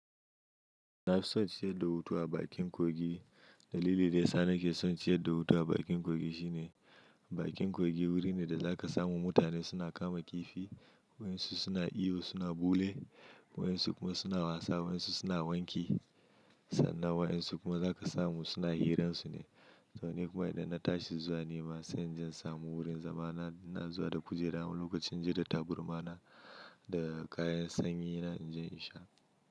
Na fi son ciyar da hutu a bakin kogi. Dalilin da ya sa nake son ciyar da hutu a bakin kogi shine bakin kogi wuri ne da za ka samu mutane suna kama kifi, wayansu suna iyo suna bule, wayansu kuma suna wasa, wayansu suna wanki sannan wayansu kuma za ka samu suna hiransu ne. To ni kuma idan na tashi zuwa nema sai inje in samu wurin zama na. Ina zuwa da kujera wani lokacin da ta burma na da kayan sanyi na, inje in sha.